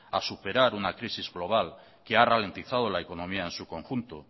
a superar una crisis global que ha ralentizado la economía en su conjunto